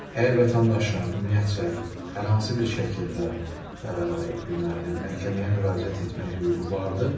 Əgər vətəndaşın ümumiyyətcə hər hansı bir şəkildə deməli məhkəməyə müraciət etmək hüququ vardır.